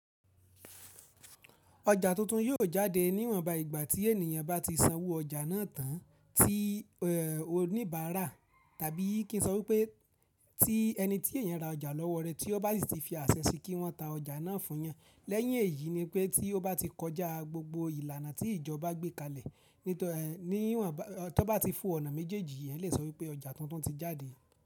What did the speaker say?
Oja tuntun yóò jáde níwọ̀nba ìgbà tí ènìyàn bá ti sanwó ọjà náà tán tí oníbàárà tàbí kí n sọ wípé tí ẹni tí èèyàn ra ọjà lọ́wọ́ rẹ̀ tí ó bá sì ti fi àṣẹ sí i kí wọ́n ta ọjà náà fún yan. Lẹ́yìn èyí ni pé tí ó bá ti kọjá gbogbo ìlànà tí ìjọba gbé kalẹ̀ níwọ̀nba, tí ó bá ti fò ọ̀nà méjèèjì, ẹ lè sọ wípé ọjà tuntun ti jáde.